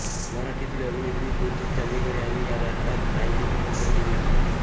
मराठीतील अभिनेत्री ज्योती चांदेकर यांनी या नाटकात नायिकेची भूमिका केली होती